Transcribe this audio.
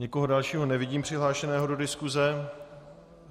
Nikoho dalšího nevidím přihlášeného do diskuse.